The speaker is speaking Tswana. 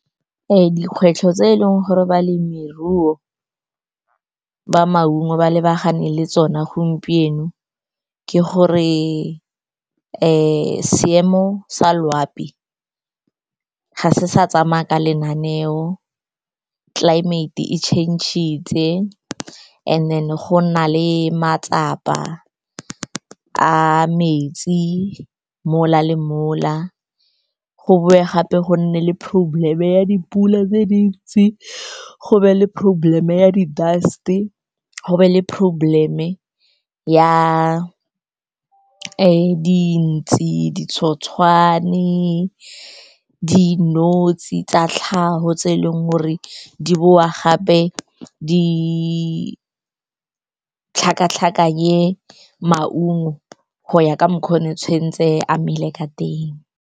Dikgwetlho tse eleng gore balemiruo ba maungo ba lebagane le tsona gompieno ke gore seemo sa loapi ga se sa tsamaya ka lenaneo, climate e change-itse. Anc then-e go nna le matsapa a metsi mola le mola, go boe gape go nne le problem ya dipula tse dintsi, go be le problem ya di-dust-e, go be le problem mme ya dintsi, ditshotshwane, dinotshe tsa tlhago tse eleng gore di boa gape, di tlhakatlhakenye maungo go ya ka mokgwa o tshwentse a mele ka teng.